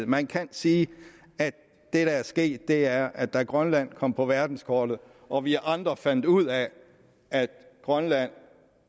man kan sige at det der er sket er at da grønland kom på verdenskortet og vi andre fandt ud af at grønland